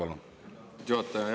Aitäh, lugupeetud juhataja!